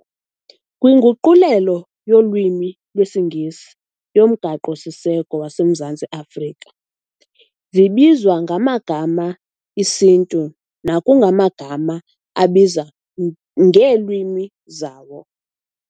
Kwinguquleleo yolwimi lwesiNgesi yoMgaqo siseko waseMzantsi Afrika, zibizwa ngamagama esiNtu nekungamagama abizwa ngeelwimi zawo.